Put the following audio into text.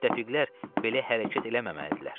Müttəfiqlər belə hərəkət eləməməlidirlər."